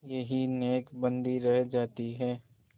यही नेकबदी रह जाती है